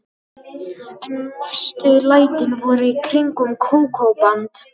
En mestu lætin voru í kringum Kókó-band.